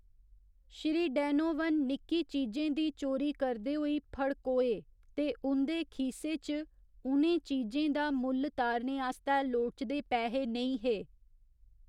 Shri Donovan निक्की चीजें दी चोरी करदे होई फड़कोए ते उं'दे खीसे च उ'नें चीजें दा मुल्ल तारने आस्तै लोड़चदे पैहे नेईं हे।